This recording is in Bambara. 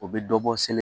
U bɛ dɔ bɔ seli